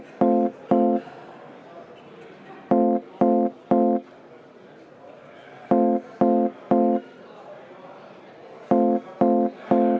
Martin Helme, palun!